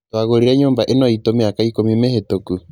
twagũrĩre nyũmba ĩno itũ mĩaka ikũmi mĩhĩtũku